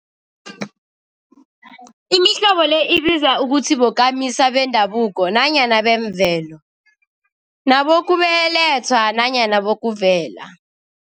Imihlobo le ibizwa ukuthi bokamisa bendabuko nanyana bemvelo, nabokubelethwa nanyana bokuvela.